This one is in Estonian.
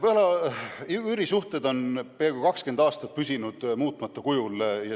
Üürisuhteid reguleeriv seadusandlus ja regulatsioonid on peaaegu 20 aastat püsinud muutmata kujul.